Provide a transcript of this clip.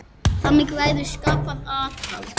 Þannig verður skapað aðhald.